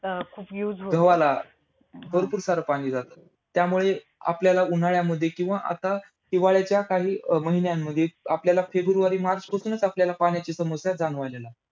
गव्हाला. भरपूर सारं पाणी जात. त्यामुळे आपल्याला उन्हाळ्यामध्ये किंवा आता हिवाळ्याच्या काही महिन्यांमध्ये आपल्याला फेब्रुवारी मार्चपासूनच आपल्याला पाण्याची समस्या जाणवायला लागते.